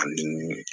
Ani